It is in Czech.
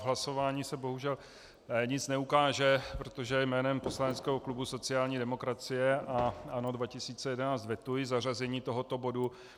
V hlasování se bohužel nic neukáže, protože jménem poslaneckého klubu sociální demokracie a ANO 2011 vetuji zařazení tohoto bodu.